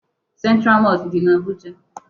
Central mosque dị na Abuja.